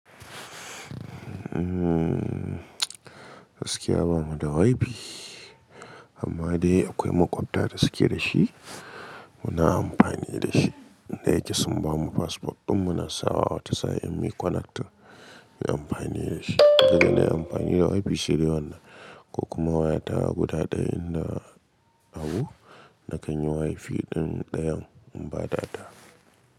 Gaskiya bamu da wifi amma dai akwai makwabta da suke da shi muna amfani da shi. Inda yake sun bamu passport ɗin muna sawa wata sa'in mu connecting mu yi amfani da shi. Saboda na yi amfani da wifi shine wannan ko kuma waya ta guda ɗayan na Abu na kan yi wifi ɗin ɗayan in ba data.